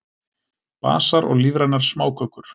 Basar og lífrænar smákökur